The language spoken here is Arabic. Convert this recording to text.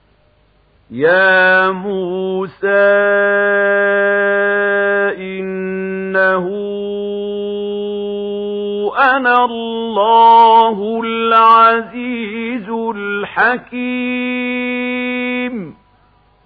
يَا مُوسَىٰ إِنَّهُ أَنَا اللَّهُ الْعَزِيزُ الْحَكِيمُ